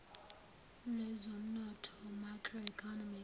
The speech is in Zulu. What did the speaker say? lwezomnotho macro economic